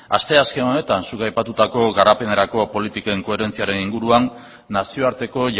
asteazken honetan zuk aipatutako garapenerako politiken koherentziaren inguruan nazioarteko